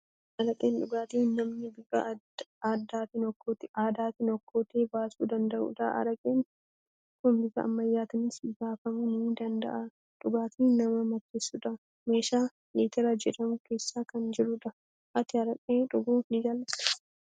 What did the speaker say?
Araqeen dhugaatii namni bifa aadaatiin okkoteetti baasuu danda'udha. Araqeen kun bifa ammayyaatiinis baafamuu ni danda'a. Dhugaatii nama macheessudha. Meeshaa litira jedhamu keessa kan jiru dha. Ati araqee dhuguu ni jaalattaa?